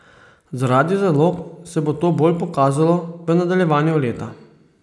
Zaradi zalog se bo to bolj pokazalo v nadaljevanju leta.